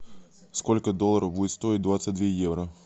сколько долларов будет стоить двадцать две евро